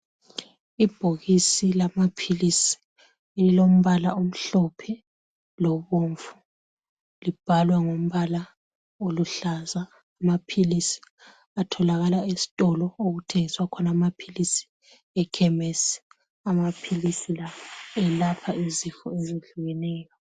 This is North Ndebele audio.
Ibhokisi lamaphilisi, elilombala omhlophe, lobomvu, Libhalwa ngombala oluhlaza. Amaphilisi atholakala esitolo, okuthengiswa khona amaphilisi, ekhemesi. Amaphilisi la, elapha izifo, ezehlukeneyo.